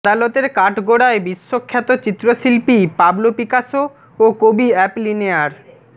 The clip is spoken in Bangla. আদালতের কাঠগোড়ায় বিশ্বখ্যাত চিত্রশিল্পী পাবলো পিকাসো ও কবি অ্যাপলিনেয়ার